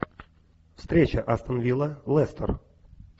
встреча астон вилла лестер